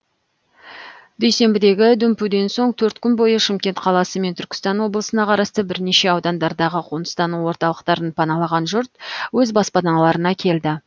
дүйсенбідегі дүмпуден соң төрт күн бойына шымкент қаласы мен түркістан облысына қарасты бірінеше аудандардағы қоныстану орталықтарын паналаған жұрт өз баспаналарына келді